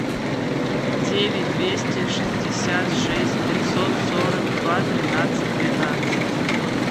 девять двести шестьдесят шесть пятьсот сорок два тринадцать двенадцать